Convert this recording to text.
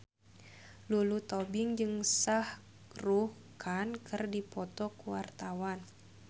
Lulu Tobing jeung Shah Rukh Khan keur dipoto ku wartawan